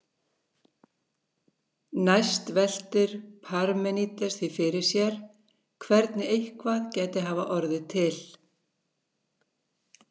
Næst veltir Parmenídes því fyrir sér hvernig eitthvað gæti hafa orðið til.